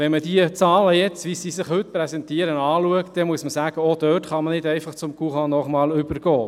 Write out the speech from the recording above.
Wenn man die Zahlen, die sich heute präsentieren, anschaut, muss man sagen, dass man auch dort nicht einfach zum courant normal übergehen kann.